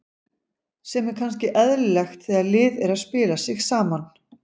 Sem er kannski eðlilegt þegar lið er að spila sig saman.